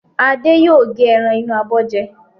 Adé yóò gé ẹran inú abọ́ jẹ.